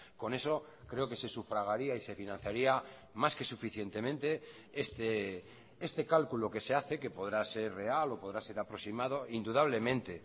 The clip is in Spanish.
con eso creo que se sufragaría y se financiaría más que suficientemente este cálculo que se hace que podrá ser real o podrá ser aproximado indudablemente